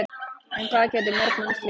En hvað gætu mörg mannslíf bjargast?